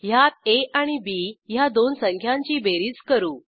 ह्यात आ आणि बी ह्या दोन संख्यांची बेरीज करू